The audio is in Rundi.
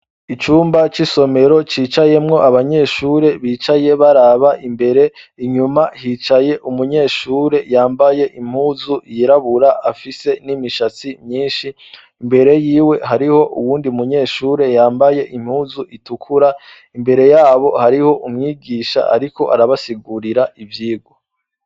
Icumba c'i somero cicayemwo abanyeshure bicaye baraba imbere inyuma hicaye umunyeshure yambaye impuzu yirabura afise n'imishatsi myinshi imbere yiwe hariho uwundi munyeshure yambaye impuzu itukura imbere yabo hariho umwigisha, ariko arabasigwa gurira ivyigwa.